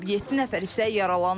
Yeddi nəfər isə yaralanıb.